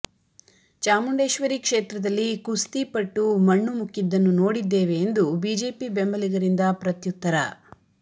ಚಾಮುಂಡೇಶ್ವರಿ ಕ್ಷೇತ್ರದಲ್ಲಿ ಕುಸ್ತಿಪಟ್ಟು ಮಣ್ಣು ಮುಕ್ಕಿದ್ದನ್ನು ನೋಡಿದ್ದೇವೆ ಎಂದು ಬಿಜೆಪಿ ಬೆಂಬಲಿಗರಿಂದ ಪ್ರತ್ಯುತ್ತರ